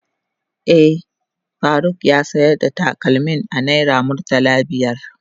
Eh, Faruk ya sayar da takalmin a naira murtala biyar.